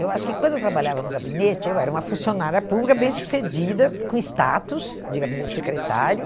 Eu acho que quando eu trabalhava no gabinete, eu era uma funcionária pública bem sucedida, com status de gabinete secretário.